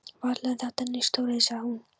Varla er þetta nein stóriðja? sagði hún.